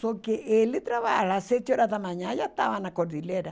Só que ele trabalhava às sete horas da manhã, já estava na cordilheira.